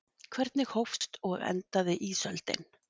Hvernig hófst og endaði ísöldin?